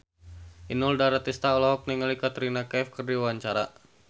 Inul Daratista olohok ningali Katrina Kaif keur diwawancara